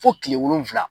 Fo kile wolonwula